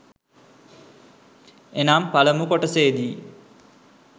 එනම් පළමු කොටසේදී